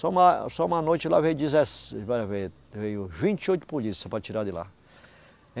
Só uma, só uma noite lá veio dezesse, vai ver, velho vinte e oito polícia para tirar de lá.